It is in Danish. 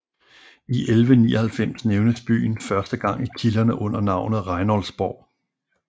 I 1199 nævnes byen første gang i kilderne under navnet Reinoldsborg